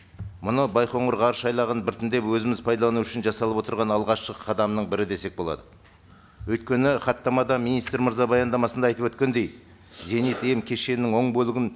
мұны байқоңыр ғарышайлағын біртіндеп өзіміз пайдалану үшін жасалып отырған алғашқы қадамның бірі десек болады өйткені хаттамада министр мырза баяндамасында айтып өткендей зенит м кешенінің оң бөлігін